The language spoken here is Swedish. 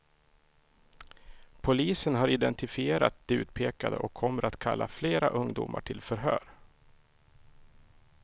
Polisen har identifierat de utpekade och kommer att kalla flera ungdomar till förhör.